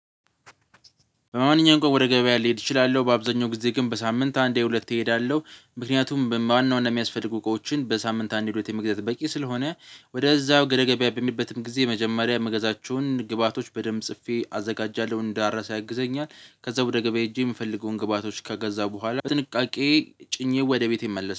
በማንኛውም ቀን ወደ ገበያ ልሄድ እችላለሁ በአብዛኛው ጊዜ ግን በሳምንት አንዴ ሁለቴ እሄዳለሁ። ምክንያቱም በዋና ዋና የሚያስፈልጉ እቃዎችን በሳምንት አንድ ሁለቴ መግዛት በቂ ስለሆነ ወደዛው ገደገቢያ በምሄድበትም ጊዜ የመጀመሪያ ምገዛቸውን ግብአቶች በደንብ ጽፌ አዘጋጃለሁ እንዳረሳ ያግዘኛል። ከዛ ወደ ገበያ ሄጄ የምፈልገውን ግብአቶች ከገዛ በኋላ በጥንቃቄ ጭኜ ወደ ቤቴ እመለሳል።